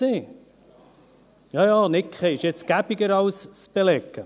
– Jaja, nicken ist jetzt praktischer, als es zu belegen.